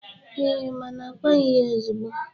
Eee, mana a kwaghị ya ozigbo